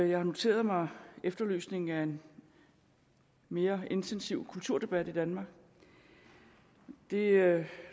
jeg har noteret mig efterlysningen af en mere intensiv kulturdebat i danmark det